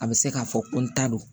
A bɛ se k'a fɔ ko n ta don